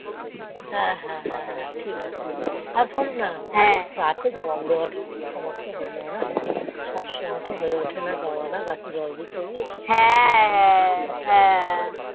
হ্যাঁ হ্যাঁ হ্যাঁ হ্যাঁ ঠিকাছে আর শোনো না ওই গাছের জল দেয়া তা একটু সমস্যা হেজিং সব সময় তো হয়ে ওঠেন গাছে জল দেয়া